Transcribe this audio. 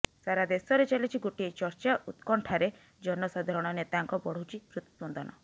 ସାରା ଦେଶରେ ଚାଲିଛି ଗୋଟିଏ ଚର୍ଚ୍ଚା ଉତ୍କଣ୍ଠାରେ ଜନସାଧାରଣ ନେତାଙ୍କ ବଢୁଛି ହୃତସ୍ପନ୍ଦନ